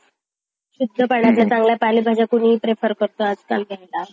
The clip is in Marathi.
चांगल्या पालेभाज्या प्रेफर करतो आजकाल घ्यायला.